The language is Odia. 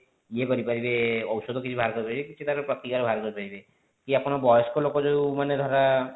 ଇଏ କରିପାରିବେ ଔଷଧ କିଛି ବାହାର କରି ପାରିବେ କି ତାର ପ୍ରତିକାର ବାହାର କରି ପାରିବେ କି ଆପଣ ବୟସ୍କ ଲୋକ ଧର